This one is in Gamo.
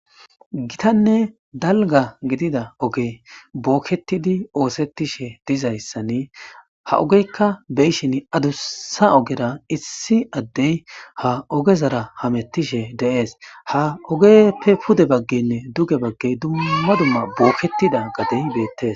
Gitanne dalga gidida oge bookkettidi oosettishe dizayssani ha ogeykka beyshin adussa ogera issi addey ha ogezara hamettishe deees ha ogeppe pude baggenne duge baggey dumma dumma booketida gadey beettes